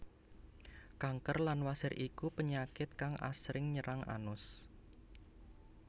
Kanker lan wasir iku penyakit kang asring nyerang anus